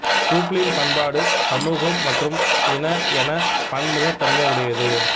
Brooklyn பண்பாடு சமூகம் மற்றும் இன என பன்முகத்தன்மை உடையது